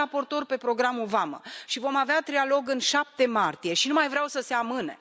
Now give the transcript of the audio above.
Eu sunt raportor pentru programul Vamă și vom avea trialog în 7 martie și nu mai vreau să se amâne